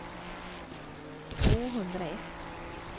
tvåhundraett